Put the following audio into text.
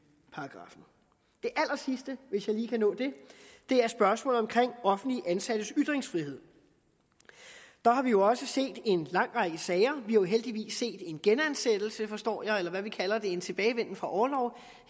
allersidste hvis jeg lige kan nå det er spørgsmålet om offentligt ansattes ytringsfrihed der har vi jo også set en lang række sager vi har jo heldigvis set en genansættelse forstår jeg eller hvad vi kalder det en tilbagevenden fra orlov